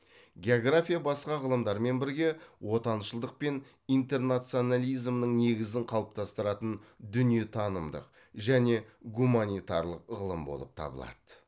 география басқа ғылымдармен бірге отаншылдық пен интернационализмнің негізін қалыптастыратын дүниетанымдық және гуманитарлық ғылым болып табылады